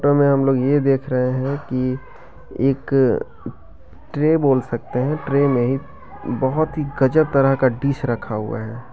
टो में हम लोग यह देख रहे हैं कि एक ट्रे बोल सकते हैं । ट्रे में बहुत ही गजब तरह का डिश रखा हुआ है।